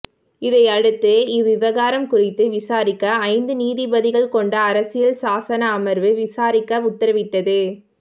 இதையடுத்து இவ்விவகாரம் குறித்து விசாரிக்க ஐந்து நீதிபதிகள் கொண்ட அரசியல் சாசன அமர்வு விசாரிக்க உத்தரவிட்டது